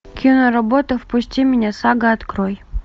киноработа впусти меня сага открой